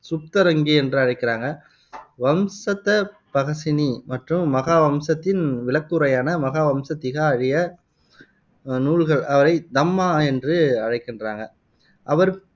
சுப்தரங்கி என்று அழைக்கிறாங்க வம்சத்தபகசினி மற்றும் மகாவம்சத்தின் விளக்கவுரையான மகாவம்ச திகா ஆகிய நூல்கள் அவரைத் தம்மா என்று அழைக்கின்றாங்க அவர்